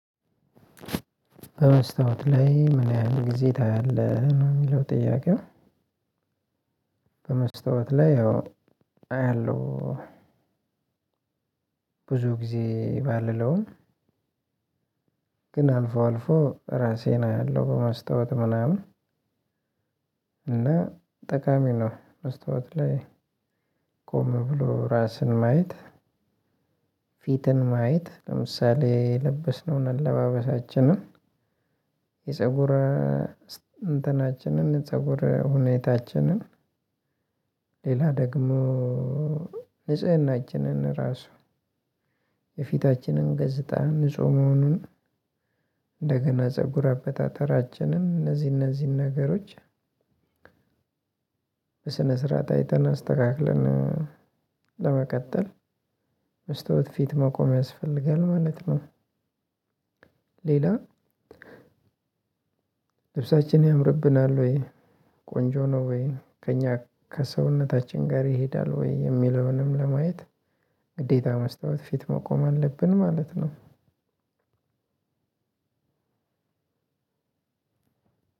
በመስታወት ላይ ምን ያህል ጊዜ ታያለህ? ነው የሚለው ጥያቄው በመስታወት ላይ ያው አያለሁ ብዙ ጊዜ ባልለውም ግን አልፎ አልፎ ራሴን አያለሁ በማስታወት ምናምን እና ጠቃሚ ነው መስታውት ላይ ቆም ብሎ እራስን ማየት ፊትን ማየት ለምሳሌ የለበስነውን አለባበሳችን ለማየት የፀጉር እንትናችንን ፀጉር ሁኔታችንን ሌላ ደግሞ ንጽህናችንን ራሱ የፊታችንን ገጽታ ንጹህ መሆኑን እንደገና ጽጉር አበጣጠራችን እንዚህን እነዚህን ነገሮች በስነ ስርዓት አይተን አስተካክለን ለመቀጠል መስታወት ፊት መቆም ያስፈልጋል ማለት ነው። ሌላ ልብሳችን ያምርብናል ወይ ቆንጆ ነው ወይ ከእኛ ከሰውነታችን ጋር ይሄዳል ወይ የሚለውንም ለማየት ግዴታ መስታወት ፊት መቆም አለብን ማለት ነው።